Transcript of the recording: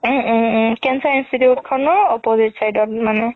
উম um um cancer institute খনৰ opposite side ত মানে